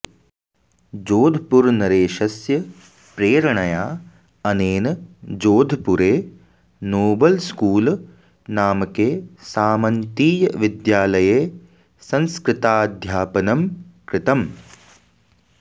जोधपुरनरेशस्य प्रेरणया अनेन जोधपुरे नोबलस्कुल नामके सामन्तीयविद्यालये संस्कृताध्यापनं कृतम्